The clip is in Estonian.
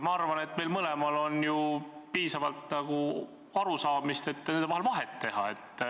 Küllap meil mõlemal on piisavalt arusaamist, et nende vahel vahet teha.